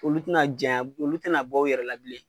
Olu tɛna janya olu tɛna bɔ u yɛrɛ la bilen.